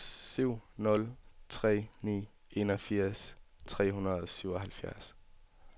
syv nul tre ni enogfirs tre hundrede og syvoghalvfjerds